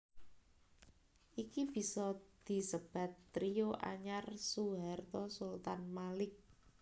Iki bisa disebat trio anyar Soeharto Sultan Malik